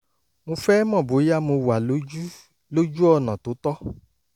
mo fẹ́ mọ̀ bóyá mo wà lójú lójú ọ̀nà tó tọ́